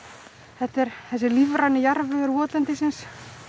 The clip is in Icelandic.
þetta er þessi lífræni jarðvegur votlendisins